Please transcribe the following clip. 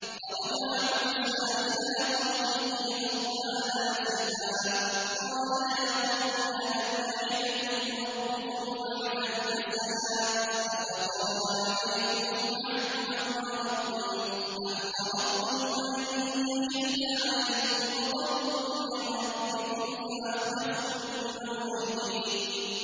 فَرَجَعَ مُوسَىٰ إِلَىٰ قَوْمِهِ غَضْبَانَ أَسِفًا ۚ قَالَ يَا قَوْمِ أَلَمْ يَعِدْكُمْ رَبُّكُمْ وَعْدًا حَسَنًا ۚ أَفَطَالَ عَلَيْكُمُ الْعَهْدُ أَمْ أَرَدتُّمْ أَن يَحِلَّ عَلَيْكُمْ غَضَبٌ مِّن رَّبِّكُمْ فَأَخْلَفْتُم مَّوْعِدِي